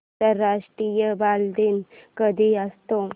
आंतरराष्ट्रीय बालदिन कधी असतो